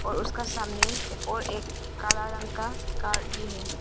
उसका सामने और एक काला रंग का कार भी है।